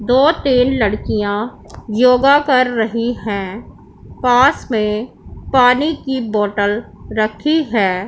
दो तीन लड़कियां योगा कर रही है पास में पानी की बॉटल रखी है।